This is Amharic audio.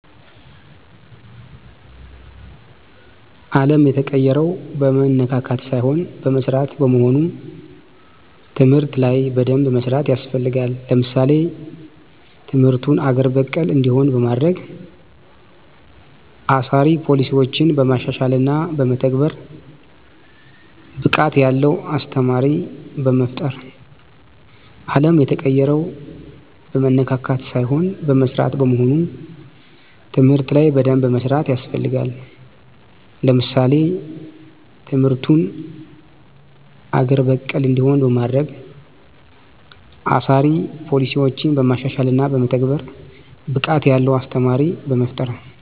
አለም የተቀየረችው በመነካካት ሳይሆን በመስራት በመሆኑ ትምህርት ላይ በደንብ መስራት ያስፈልጋል። ለምሳሌ ትምርቱን አገር በቀል እንዲሆን በማድረግ፣ አሳሪ ፖሊሲዮችን በማሻሻልና በመተግበር፣ ብቃት ያለው አስተማሪ በመፍጠር